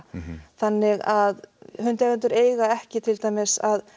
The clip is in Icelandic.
þannig að hundeigendur eiga ekki til dæmis að